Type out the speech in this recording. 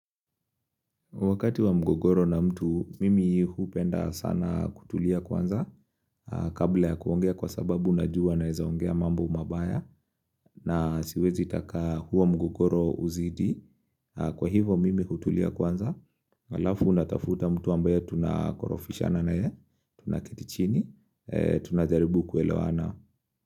Wakati wa mgogoro na mtu, mimi hupenda sana kutulia kwanza kabla ya kuongea kwa sababu najua naweza ongea mambo mabaya na siwezi taka huo mgogoro uzidi, kwa hivo mimi hutulia kwanza alafu natafuta mtu ambaye tunakorofishana naye tunaketi chini, tunajaribu kuelewana.